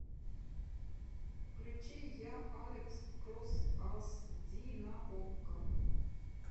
включи я алекс кросс ас ди на окко